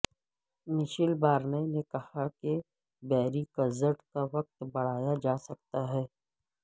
Michel Barnier نے کہا کہ بریگزٹ کا وقت بڑھایا جا سکتا ہے